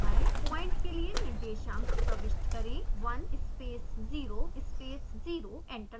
point के लिए निर्देशांक प्रविष्ट करें 1 space 0 space 0 एंटर दबाएं